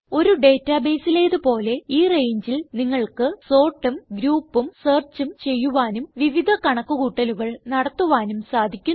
ഒരു databaseലേത് പോലെ ഈ രംഗെ ൽ നിങ്ങൾക്ക് sortഉം groupഉം searchഉം ചെയ്യുവാനും വിവിധ കണക്ക് കൂട്ടലുകൾ നടത്തുവാനും സാധിക്കുന്നു